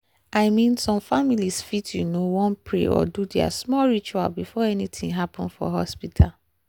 i mean some families fit you know wan pray or do their small ritual before anything happen for hospital.